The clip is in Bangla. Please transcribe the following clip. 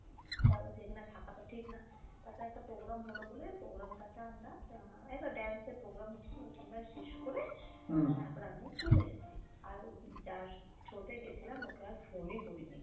তারপরে যে এখানে থাক তো ঠিক না। তাতে একটা program হল বলে program টা তে আমরা আহ এই তো dance এর program হচ্ছিল ওটা আমরা শেষ করে তারপর আমরা চলে এসছি আর ওই যার through তে গেছিলাম ওকে আর phone ই করি নাই।